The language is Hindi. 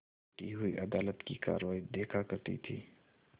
बैठी हुई अदालत की कारवाई देखा करती थी